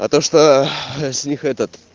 а то что с них этот